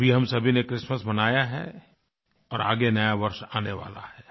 अभी हम सभी ने क्रिसमस मनाया है और आगे नयावर्ष आने वाला है